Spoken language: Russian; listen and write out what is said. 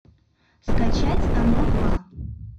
скачать оно два